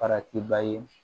Farati ba ye